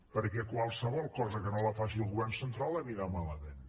perquè qualsevol cosa que no la faci el govern central anirà malament